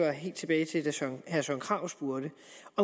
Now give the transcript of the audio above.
helt tilbage til da herre søren krarup spurgte